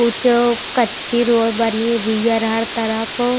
कुछ कच्छी रोळ बरी --]